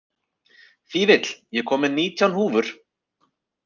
Fífill, ég kom með nítján húfur!